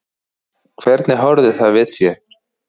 Hvernig horfði það við þér?